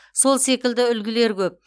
сол секілді үлгілер көп